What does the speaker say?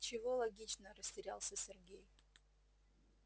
чего логично растерялся сергей